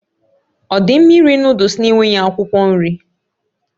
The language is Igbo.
Ọ dị mma iri Nụ́dúls na-enweghị akwụkwọ nri?